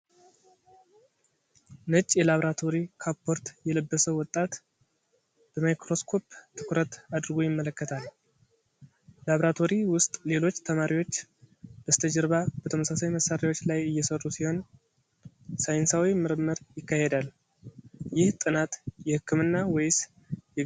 ነጭ የላብራቶሪ ካፖርት የለበሰ ወጣት በማይክሮስኮፕ ትኩረት አድርጎ ይመለከታል። ላብራቶሪ ውስጥ ሌሎች ተማሪዎች በስተጀርባ በተመሳሳይ መሳሪያዎች ላይ እየሰሩ ሲሆን፣ ሳይንሳዊ ምርምር ይካሄዳል። ይህ ጥናት የሕክምና ወይስ የግብርና ዘርፍ ነው?